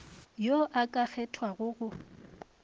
yo o ka kgethwago go